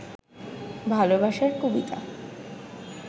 ভালবাসার কবিতা